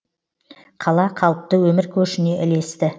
қала қалыпты өмір көшіне ілесті